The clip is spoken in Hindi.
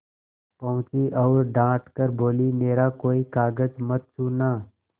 पहुँची और डॉँट कर बोलीमेरा कोई कागज मत छूना